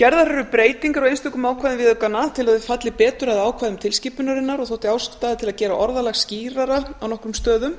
gerðar eru breytingar á einstökum ákvæðum viðaukanna til að þau falli betur að ákvæðum tilskipunarinnar og þótti ástæða til að gera orðalag skýrara á nokkrum stöðum